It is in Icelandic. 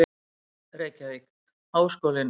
Reykjavík: Háskólinn í Reykjavík.